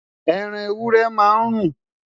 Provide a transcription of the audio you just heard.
ẹran ewúrẹ́ má n run